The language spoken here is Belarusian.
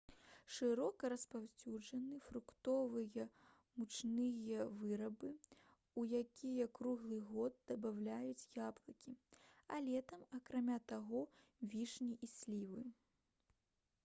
шырока распаўсюджаны фруктовыя мучныя вырабы у якія круглы год дабаўляюць яблыкі а летам акрамя таго вішні і слівы